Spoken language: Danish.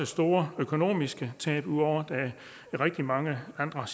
store økonomiske tab ud over de rigtig mange andre